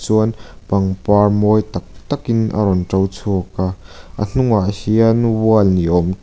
chuan pangpar mawi tak takin a rawn to chhuak a hnungah hian wall ni awm--